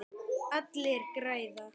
Allir græða.